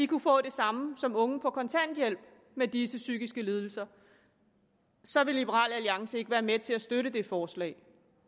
kunne få det samme som unge på kontanthjælp med disse psykiske lidelser så vil liberal alliance ikke være med til at støtte det forslag